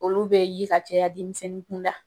Olu bɛ ye ka caya denmisɛnnin kun da.